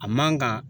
A man kan